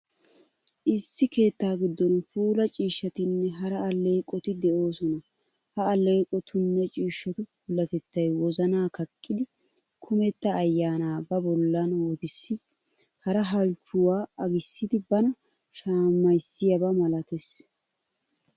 Issi keetta giddon puula ciishshatinne hara alleeqoti de'oosona. Ha alleeqotunne ciishshatu puulatettay wozana kaqqidi, kumetta ayyaanaa ba bollan wotissidi, hara halchchuwaa agissidi bana shamissiyaaba malatees.